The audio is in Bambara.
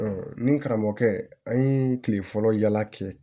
ni karamɔgɔkɛ an ye kile fɔlɔ yaala kɛ